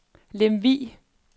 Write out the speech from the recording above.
Lemvig